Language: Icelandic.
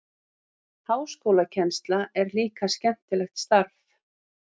Háskólakennsla er líka skemmtilegt starf.